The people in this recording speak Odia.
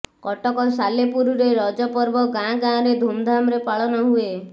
କଟକ ସାଲେପୁରରେ ରଜ ପର୍ବ ଗାଁ ଗାଁରେ ଧୁମଧାମରେ ପାଳନ ହୁଏ